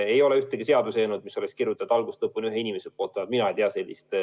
Ei ole ühtegi seaduseelnõu, mis oleks algusest lõpuni ühe inimese kirjutatud, vähemalt mina ei tea sellist.